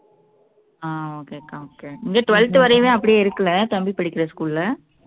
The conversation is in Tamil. ஆஹ் okay அக்கா okay இங்க twelfth வரையுமே அப்படியே இருக்கலை தம்பி படிக்கிற school ல